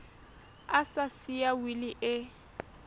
a sa siya wili e